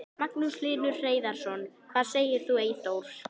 Magnús Hlynur Hreiðarsson: Hvað segir þú Eyþór?